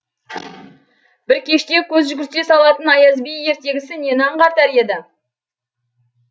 бір кеште көз жүгірте салатын аяз би ертегісі нені аңғартар еді